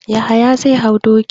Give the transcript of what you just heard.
Yahaya zai hau doki.